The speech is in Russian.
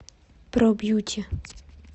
про бьюти